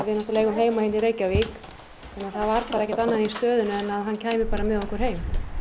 náttúrulega heima hér í Reykjavík þannig að það var ekkert annað í stöðunni en að hann kæmi með okkur heim